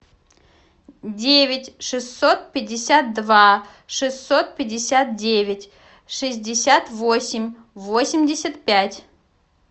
девять шестьсот пятьдесят два шестьсот пятьдесят девять шестьдесят восемь восемьдесят пять